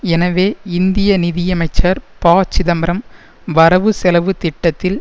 எனவே இந்திய நிதியமைச்சர் ப சிதம்பரம் வரவுசெலவு திட்டத்தில்